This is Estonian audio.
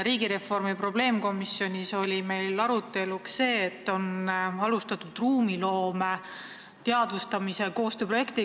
Riigireformi probleemkomisjonis oli meil arutelu all Riigikantselei elluviidud ruumiloome teadvustamise koostööprojekt.